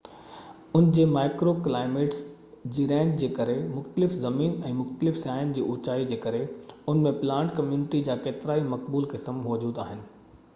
ان جي microclimates جي range جي ڪري مختلف زمين ۽ مختلف سطح جي اوچائي جي ڪري ان ۾ پلانٽ ڪميونٽي جا ڪيترائي مقبول قسم موجود آهن